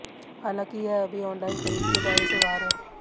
हालांकि यह अभी ऑनलाइन खरीद के दायरे से बाहर है